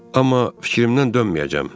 Amma fikrimdən dönməyəcəm.